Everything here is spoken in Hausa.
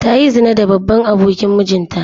Ta yi zina da babban abokin mijinta.